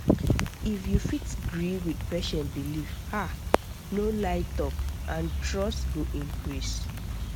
if you fit gree with patient belief ah no lie talk and trust go increase